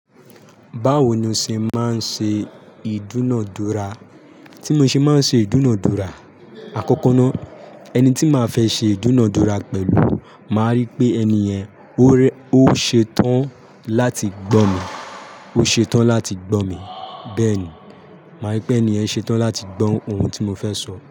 Báwo ni o ṣe máa ń ṣe ìdúnunadúrà? Tí mo ṣe máa ń ṣe ìdúnadúrà, àkọ́kọ́ ná, ẹni tí màá fẹ́ ṣe ìdúnadúrà pẹ̀lú, màá rí pé ẹniyẹ̀n, ó ṣetán láti gbọ́ mi, ó ṣetán láti gbọ́ mi. Bẹ́ẹ̀ ni, màá rí pé ẹni ẹ̀ ṣetán láti gbọ́ ohun tí mo fẹ́ sọ.